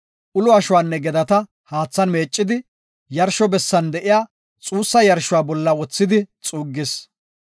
Ulo ashuwanne gedata haathan meeccidi, yarsho bessan de7iya xuussa yarshuwa bolla wothidi xuuggis.